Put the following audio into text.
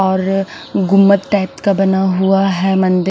और गुम्मवद टाइप का बना हुआ है मंदिर--